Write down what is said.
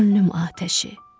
Könlüm atəşi.